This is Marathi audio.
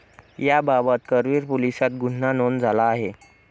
याबाबत करवीर पोलिसात गुन्हा नोंद झाला आहे.